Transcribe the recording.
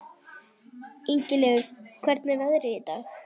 Ingileifur, hvernig er veðrið í dag?